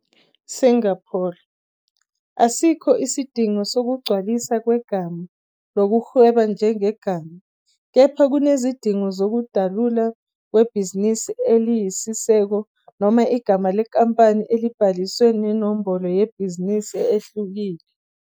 Singapore, asikho isidingo sokugcwaliswa kwegama "lokuhweba njengegama", kepha kunezidingo zokudalulwa kwebhizinisi eliyisisekelo noma igama lenkampani elibhalisiwe nenombolo yebhizinisi ehlukile.